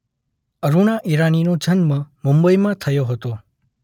અરુણા ઈરાનીનો જન્મ મુંબઈમાં થયો હતો.